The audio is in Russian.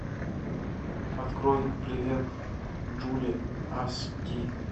открой привет джули ас ди